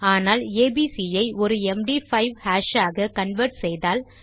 ஆனால் ஏபிசி ஐ ஒரு எம்டி5 ஹாஷ் ஆக கன்வெர்ட் செய்தால்